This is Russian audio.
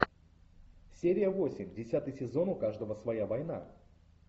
серия восемь десятый сезон у каждого своя война